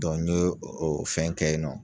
Dɔ n ye o o fɛn kɛ yen nɔ